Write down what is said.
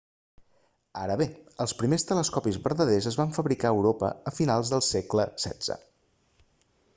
ara bé els primers telescopis vertaders es van fabricar a europa a finals del segle xvi